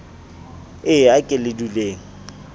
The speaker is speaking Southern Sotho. e a ke le duleng